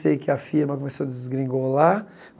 Sei que a firma começou a desgringolar.